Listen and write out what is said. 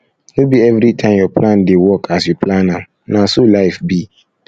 no be everytime your plan dey work as you plan am na so life be